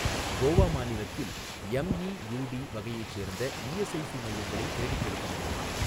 கோவா மாநிலத்தில் எம்இயுடி வகையைச் சேர்ந்த இஎஸ்ஐஸி மையங்களை தேடிக்கொடுக்க முடியுமா?